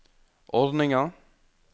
ordninga